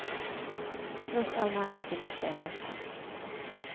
Tross all nærhet finnes det en avstand.